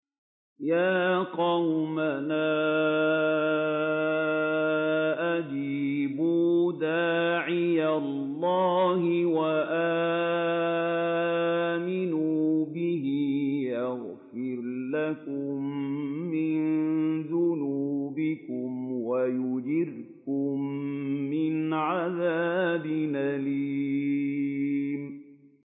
يَا قَوْمَنَا أَجِيبُوا دَاعِيَ اللَّهِ وَآمِنُوا بِهِ يَغْفِرْ لَكُم مِّن ذُنُوبِكُمْ وَيُجِرْكُم مِّنْ عَذَابٍ أَلِيمٍ